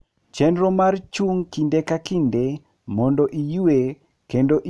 Chenro mar chung' kinde ka kinde mondo iyue kendo iywe mondo kik iol sama iriembo.